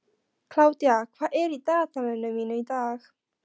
Kládía, hvað er í dagatalinu mínu í dag?